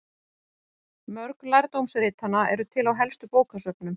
Mörg lærdómsritanna eru til á helstu bókasöfnum.